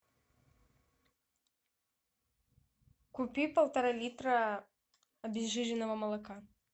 купи полтора литра обезжиренного молока